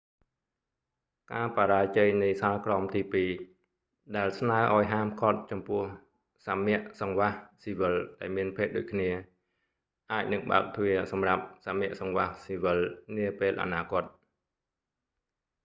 ការបរាជ័យនៃសាលក្រមទីពីរ ដែលស្នើឱ្យហាមឃាត់ចំពោះសមគ្គសង្វាសស៊ីវិលដែលមានភេទដូចគ្នា អាចនឹងបើកទ្វារសម្រាប់សមគ្គសង្វាសស៊ីវិលនាពេលអនាគត